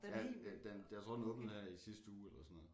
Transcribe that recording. Ja den den jeg tror den åbnede her i sidste uge eller sådan noget